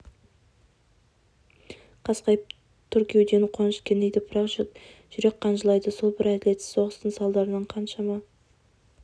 қасқайып тұр кеудені қуаныш кернейді бірақ жүрек қан жылайды сол бір әділетсіз соғыстың салдарынан қаншама